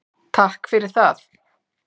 Takk fyrir það.